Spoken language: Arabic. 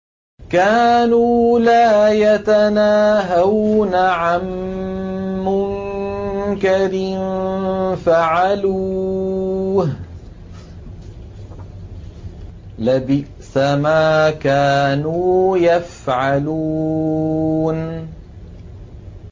كَانُوا لَا يَتَنَاهَوْنَ عَن مُّنكَرٍ فَعَلُوهُ ۚ لَبِئْسَ مَا كَانُوا يَفْعَلُونَ